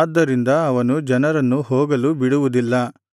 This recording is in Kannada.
ಆದ್ದರಿಂದ ಅವನು ಜನರನ್ನು ಹೋಗಲು ಬಿಡುವುದಿಲ್ಲ